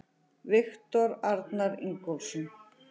Viktor Arnar Ingólfsson